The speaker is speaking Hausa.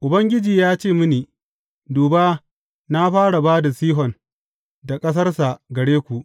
Ubangiji ya ce mini, Duba, na fara ba da Sihon da ƙasarsa gare ku.